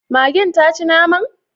Magen taci naman?